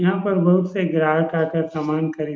यहाँ पर बहुत से ग्राहक आ कर समान खरदी --